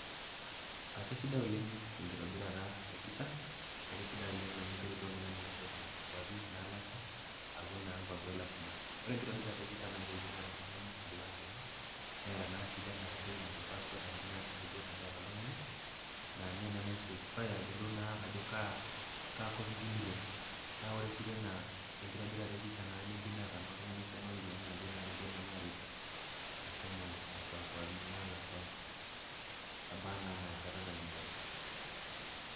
Akesidai oleng enkitobirata e visa ekesidai oleng amu keret oltung'ani meshomo nkuapi naalakwa, aaku naa nkwapi olashumba. Ore enkitobirata e visa neyeu neata oltung'ani enkipande enye, neata sii passport aa ninye naa duo sidai teneata oltung'ani naa ninye naa naispecifai ayelou naa ajo kaa kop iyeu nilo, naa ore siitena enkitobirata e visa naa keyeu neata naa oltung'ani esiana o ropiani naa ninche naa naretu meshomo nekwa kuapi naalakwa ebaa naa ana enkata nayeu nelo.